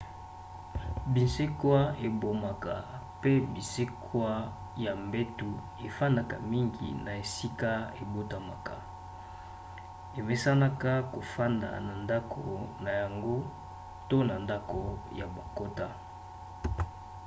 binsekwa ebomaka mpe binsekwa ya mbeto efandaka mingi na esika ebotamaka emesanaka kofanda na ndako na yango to na ndako oyo bakota